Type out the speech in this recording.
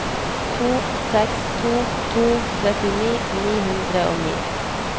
to seks to to trettini ni hundre og ni